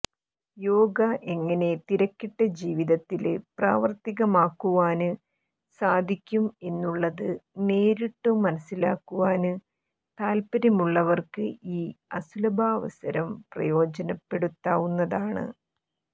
യോഗ എങ്ങനെ തിരക്കിട്ട ജീവിതത്തില് പ്രാവര്ത്തികമാക്കുവാന് സാധിക്കും എന്നുള്ളത് നേരിട്ടു മനസിലാക്കുവാന് താത്പര്യമുള്ളവര്ക്ക് ഈ അസുലഭാവസരം പ്രയോജനപ്പെടുത്താവുന്നതാണ്